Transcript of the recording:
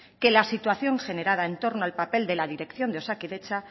que la situación generada en torno al papel de la dirección de osakidetza